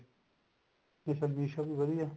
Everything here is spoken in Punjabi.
ਹਾਂਜੀ sir মীশো ਵੀ ਵਧੀਆ